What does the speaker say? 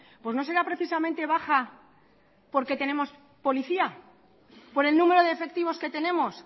pues no será precisamente baja porque tenemos policía por el número de efectivos que tenemos